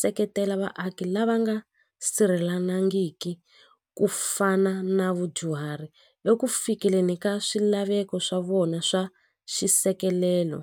seketela vaaki lava nga ku fana na vadyuhari eku fikeleni ka swilaveko swa vona swa xisekelelo.